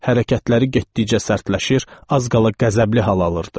Hərəkətləri getdikcə sərtləşir, az qala qəzəbli hal alırdı.